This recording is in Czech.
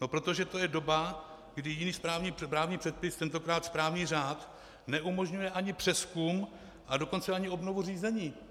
No protože to je doba, kdy jiný právní předpis, tentokrát správní řád, neumožňuje ani přezkum, a dokonce ani obnovu řízení.